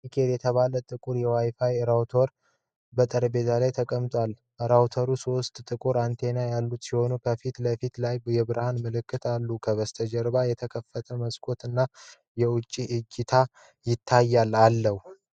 ኔትጌር የተባለ ጥቁር የዋይ ፋይ ራውተር በጠረጴዛ ላይ ተቀምጧል። ራውተሩ ሦስት ጥቁር አንቴናዎች ያሉት ሲሆን፣ ከፊት ለፊት ላይ የብርሃን ምልክቶች አሉ። ከበስተጀርባ የተከፈተ መስኮት እና የውጪ እይታ ይታያል።